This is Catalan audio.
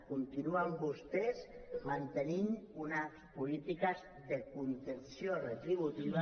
continuen vostès mantenint unes polítiques de contenció retributiva